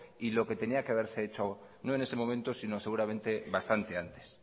y lo que tenía que haberse hecho no en ese momento sino seguramente bastante antes